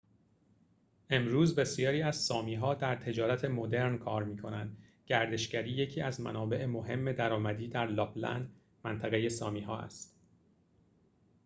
امروز بسیاری از سامی‌ها در تجارت مدرن کار می‌کنند گردشگری یکی از منابع مهم درآمدی در لاپ‌لند منطقه سامی‌ها است